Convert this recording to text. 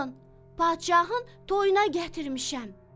"Alın, padşahın toyuna gətirmişəm."